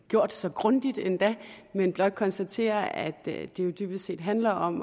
gjort så grundigt men blot konstatere at det jo dybest set handler om